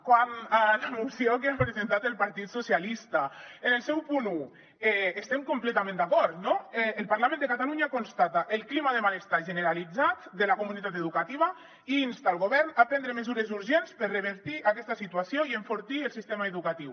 quant a la moció que ha presentat el partit socialistes en el seu punt un hi estem completament d’acord no el parlament de catalunya constata el clima de malestar generalitzat de la comunitat educativa i insta el govern a prendre mesures urgents per revertir aquesta situació i enfortir el sistema educatiu